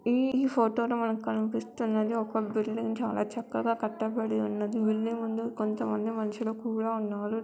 ఈ ఫోటోలో మనకు కనిపిస్తున్నధీ ఒక బిల్డింగ్ చాలా చక్కగా కట్టబడిఉన్నదీ బిల్డింగ్ ముందు కొంతమంది మనుషులు కూడా ఉన్నారు .